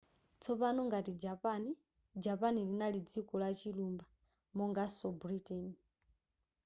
tsopano ngati japan japan linali dziko lachilumba monganso britain